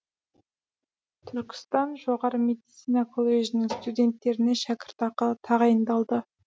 түркістан жоғары медицина колледжінің студенттеріне шәкіртақы тағайындалды